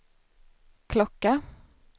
klocka